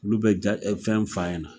Olu bɛ jaɲɛ fɛn f'a ɲɛ .na